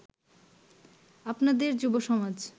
আপনাদের যুবসমাজ